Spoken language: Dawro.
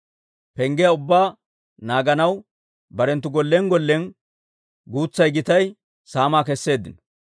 Penggiyaa ubbaa naaganaw barenttu gollen gollen guutsay gitay saamaa kesseeddino.